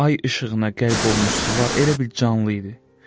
Ay işığına qərq olmuş sular elə bil canlı idi.